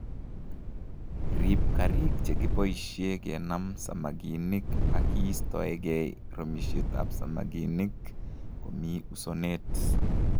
Riib karik chekiboisie kenam samakinik ak iistoegei romishetab samakinik Komi usonet